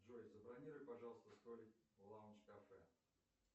джой забронируй пожалуйста столик в лаундж кафе